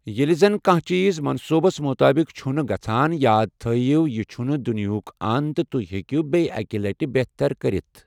ییٚلہِ زَنہٕ کانٛہہ چیٖز منصوٗبَس مُطٲبِق چھُنہٕ گژھَان، یاد تھٲیِو یہِ چھُنہٕ دُنیِہُک أنٛد تہٕ تُہۍ ہٮ۪کِو بیٚکہِ لَٹہِ بہتر کٔرِتھ۔